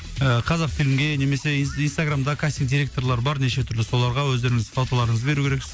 ыыы қазақфильмге немесе инстаграмда кастинг директорлары бар неше түрлі соларға өздеріңіздің фоталарыңызды беру керексіз